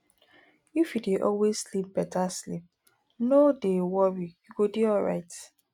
if you dey always sleep beta sleep no dey worry you go dey alright